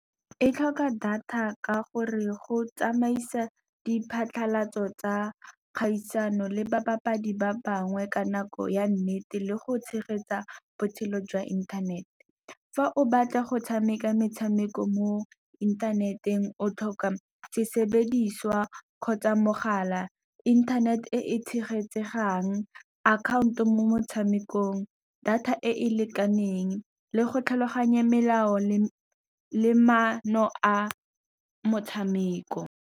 Ectlhoka data ka gore go tsamaisa diphatlhalatso tsa kgaisano, le ba bapadi ba bangwe ka nako ya nnete. Le go tshegetsa botshelo jwa inthanete fa o batla go tshameka metshameko mo inthaneteng. O tlhoka sesebediswa kgotsa mogala, inthanete e e tshegetsang, akhaonto mo motshamekong, data e e lekaneng le go tlhaloganya melao le maano a motshameko.